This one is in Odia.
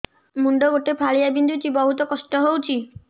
ମୁଣ୍ଡ ଗୋଟେ ଫାଳିଆ ବିନ୍ଧୁଚି ବହୁତ କଷ୍ଟ ହଉଚି